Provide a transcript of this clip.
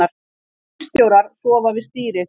Skipstjórar sofna við stýrið